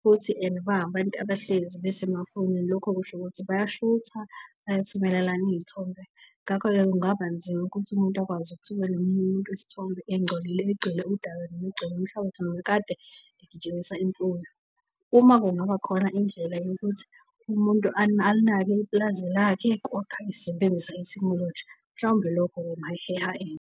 futhi ene bayabantu abahlezi besemafonini lokho kusho ukuthi bayashutha, bayathumela lana iy'thombe. Ngakho-ke kungaba nzima ukuthi umuntu akwazi ukuthumela omunye umuntu isithombe engcolile, egcwele udaka noma egcwele inhlabathi kade egijimisa imfuyo. Uma kungaba khona indlela yokuthi umuntu alinake ipulazi lakhe .